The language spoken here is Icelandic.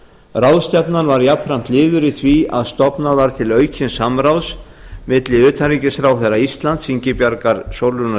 ráðstefnan var jafnframt liður í því að stofnað var til aukins samráðs milli utanríkisráðherra íslands ingibjargar sólrúnar